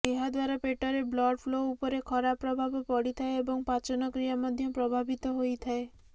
ଏହାଦ୍ୱାରା ପେଟରେ blood flow ଉପରେ ଖରାପ ପ୍ରଭାବ ପଡିଥାଏ ଏବଂ ପାଚନ କ୍ରିୟା ମଧ୍ୟ ପ୍ରଭାବିତ ହୋଇଥାଏ